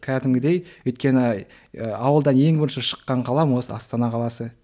кәдімгідей өйткені ы ауылдан ең бірінші шыққан қалам осы астана қаласы